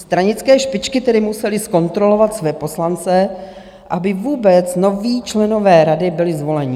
Stranické špičky tedy musely zkontrolovat své poslance, aby vůbec noví členové rady byli zvoleni.